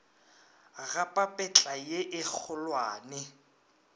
ga papetla ye e kgolwane